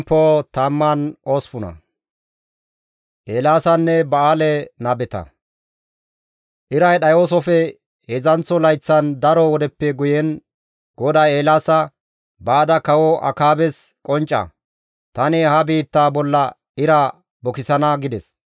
Iray dhayoosofe heedzdzanththo layththan, daro wodeppe guyen GODAY Eelaasa, «Baada Kawo Akaabes qoncca. Tani ha biittaa bolla ira bukisana» gides.